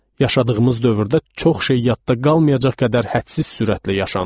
Yaşadığımız dövrdə çox şey yadda qalmayacaq qədər hədsiz sürətlə yaşanır.